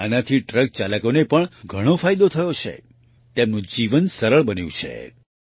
આનાથી ટ્રક ચાલકોને પણ ઘણો ફાયદો થયો છે તેમનું જીવન સરળ બન્યું છે